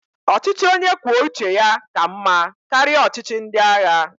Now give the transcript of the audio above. Ọchịchị onye kwuo uche ya ka mmá karịa ọchịchị ndị agha.